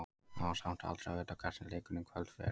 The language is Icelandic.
Það er samt aldrei að vita hvernig leikurinn í kvöld fer.